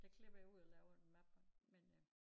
Der klipper jeg ud og laver en mappe men øh